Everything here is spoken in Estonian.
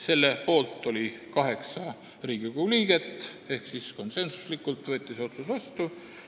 Selle poolt oli 8 Riigikogu liiget ehk konsensuslikult võeti see otsus vastu.